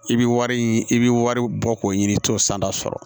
I bi wari i bi wari bɔ k'o ɲini i t'o santa sɔrɔ